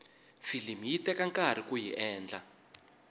filimi yi teka nkarhi kuyi endla